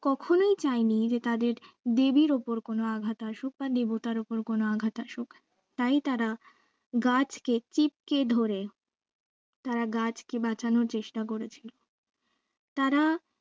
কখনোই চাইনি যে তাদের দেবীর ওপর কোনো আঘাত আসুক বা দেবতার ওপর কোনো আঘাত আসুক তাই তারা গাছকে চিপকে ধরে তারা গাছকে বাঁচানোর চেষ্টা করেছে তারা করে